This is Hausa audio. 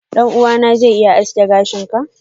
ɗan'uwana zai iya aske gashin ka.